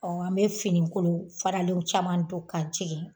an bɛ finikolon faralenw caman don ka jigi